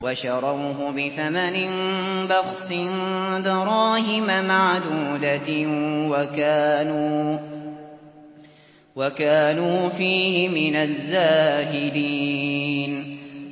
وَشَرَوْهُ بِثَمَنٍ بَخْسٍ دَرَاهِمَ مَعْدُودَةٍ وَكَانُوا فِيهِ مِنَ الزَّاهِدِينَ